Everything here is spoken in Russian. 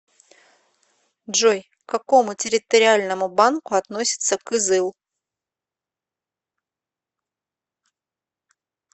джой к какому территориальному банку относится кызыл